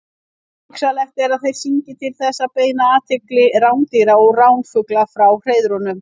Hugsanlegt er að þeir syngi til þess að beina athygli rándýra og ránfugla frá hreiðrunum.